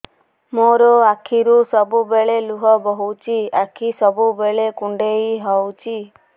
ମୋର ଆଖିରୁ ସବୁବେଳେ ଲୁହ ବୋହୁଛି ଆଖି ସବୁବେଳେ କୁଣ୍ଡେଇ ହଉଚି